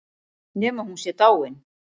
Nema hún sé dáin.